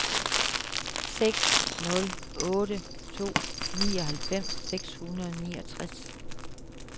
seks nul otte to nioghalvfems seks hundrede og niogtres